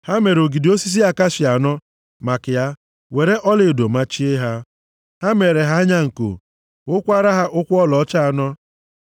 Ha mere ogidi osisi akashia anọ maka ya were ọlaedo machie ha. Ha meere ha anya nko; wukwara ha ụkwụ ọlaọcha anọ.